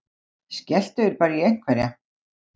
Skelltu þér bara í einhverja!